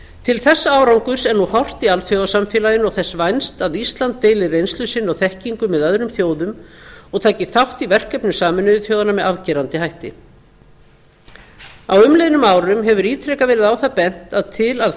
til þessa árangurs er nú horft í alþjóðasamfélaginu og þess vænst að ísland deili reynslu sinni og þekkingu með öðrum þjóðum og taki þátt í verkefnum sameinuðu þjóðanna með afgerandi hætti á umliðnum árum hefur ítrekað verið á það bent að til að